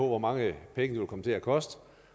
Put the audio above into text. hvor mange penge det vil komme til at koste